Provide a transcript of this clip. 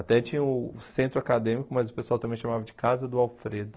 Até tinha o centro acadêmico, mas o pessoal também chamava de Casa do Alfredo.